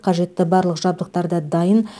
қажетті барлық жабдықтар да дайын